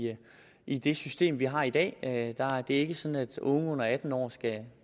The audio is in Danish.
i det system vi har i dag det er ikke sådan at unge under atten år skal